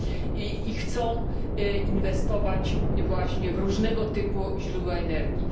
I chcą inwestować właśnie w różnego typu źródła energii.